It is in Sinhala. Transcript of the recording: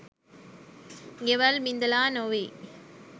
ගෙවල් බිඳලා නොවෙයි